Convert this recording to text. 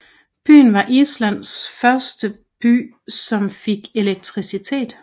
Byen var Islands første by som fik elektricitet